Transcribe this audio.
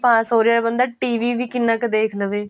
ਪਾਸ ਹੋ ਰਿਹਾ ਬਣਦਾ TV ਵੀ ਕਿੰਨਾ ਕ ਦੇਖ ਲਵੇ